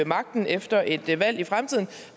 magten efter et valg i fremtiden